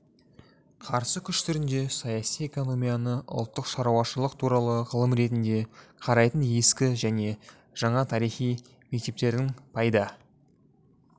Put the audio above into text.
қарсы күш түрінде саяси экономияны ұлттық шаруашылық туралы ғылым ретінде қарайтын ескі және жаңа тарихи мектептердің пайда